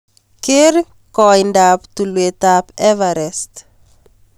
Keer koindap tulwetab everest